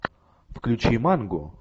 включи манго